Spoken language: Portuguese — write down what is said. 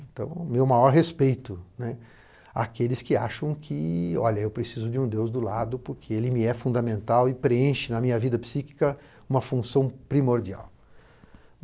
Então, o meu maior respeito, né, àqueles que acham que, olha, eu preciso de um Deus do lado porque ele me é fundamental e preenche na minha vida psíquica uma função primordial.